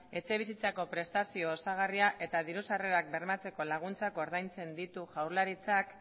etxebizitzako prestazio osagarria eta diru sarrerak bermatzeko laguntzak ordaintzen ditu jaurlaritzak